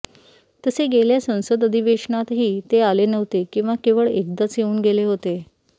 तसे गेल्या संसद अधिवेशनातही ते आले नव्हते किंवा केवळ एकदाच येऊन गेले होते